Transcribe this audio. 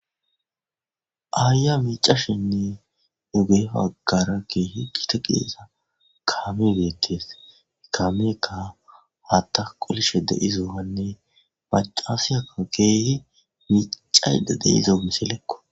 Aayya miicashinne dugefaggara keehi gite qiesa kaami beettees ikamika hatta qolishe de'izohanne macasiyaka keehi miicayda deizo misilekko.